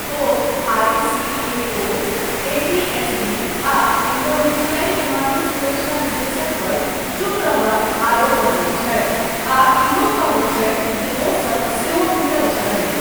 ओ ICAO, ATSB आ इंडोनेशियाई विमानन सुरक्षा निदेशक पर 'चुप रहबाक ' आरोप लगबैत छथि आ इहो कहैत छथि जे ओसब सेहो मिलल छथि।